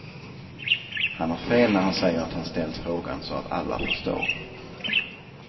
Han har fel när han säger att han ställt frågan så att alla förstår.